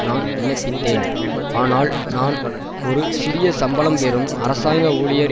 நான் வின்னப்பித்தேன் ஆனால் நான் ஒரு சிறிய சம்பளம் பெறும் அரசாங்க ஊழியர்